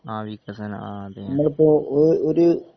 ആഹ് വികസനം ആഹ് അതുതന്നെ